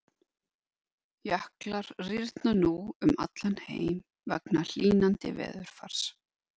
Jöklar rýrna nú um allan heim vegna hlýnandi veðurfars.